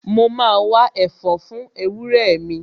Mo ma wá ẹ̀fọ́ fún ewúrẹ́ mi